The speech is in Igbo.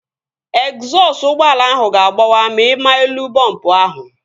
Egzọsụ ụgbọala ahụ ga-agbawa ma ịma elu bọmbu ahụ